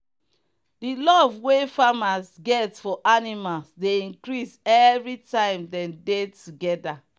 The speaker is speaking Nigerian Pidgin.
the love wey farmers get for animals dey increase everytime dem dey together.